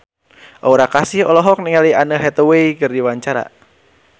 Aura Kasih olohok ningali Anne Hathaway keur diwawancara